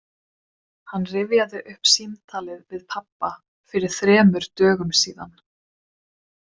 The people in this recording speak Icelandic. Hann rifjaði upp símtalið við pabba fyrir þremur dögum síðan.